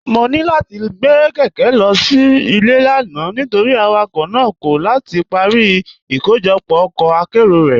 Mọ̀ ní láti gbé kékè lọ sí ilẹ̀ lánà̀ nítorí awakọ̀ náà kọ̀ láti parí ìkọ̀jọpọ̀ ọkọ̀ àkéró rẹ́.